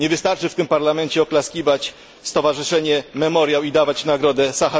Nie wystarczy w tym Parlamencie oklaskiwać stowarzyszenia Memoriał i dawać Nagrodę im.